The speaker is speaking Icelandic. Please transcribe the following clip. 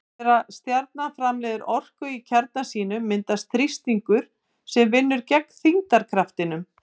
Þegar stjarna framleiðir orku í kjarna sínum myndast þrýstingur sem vinnur gegn þyngdarkraftinum.